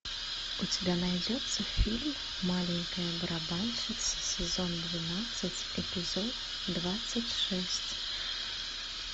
у тебя найдется фильм маленькая барабанщица сезон двенадцать эпизод двадцать шесть